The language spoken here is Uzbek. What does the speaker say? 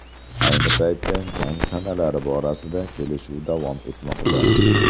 Ayni paytda jang sanalari borasida kelishuv davom etmoqda.